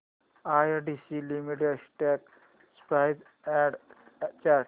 ITC limited stock price and chart